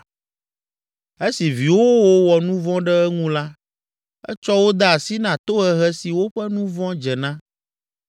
Esi viwòwo wɔ nu vɔ̃ ɖe eŋu la, etsɔ wo de asi na tohehe si woƒe nu vɔ̃ dze na.